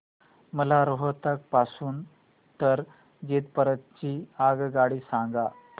मला रोहतक पासून तर जिंद पर्यंत ची आगगाडी सांगा